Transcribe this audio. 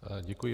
Děkuji.